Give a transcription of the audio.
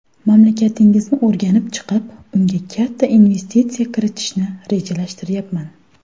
Mamlakatingizni o‘rganib chiqib, unga katta investitsiya kiritishni rejalashtiryapman.